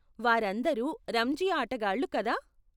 వారందరూ రంజీ ఆటగాళ్లు, కదా?